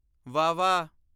ਵੱਵਾ